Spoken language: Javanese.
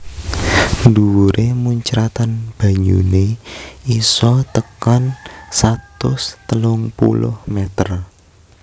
Dhuwuré muncratan banyuné isa tekan satus telung puluh meter